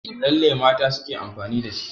Lalle mata suke amfani da shi.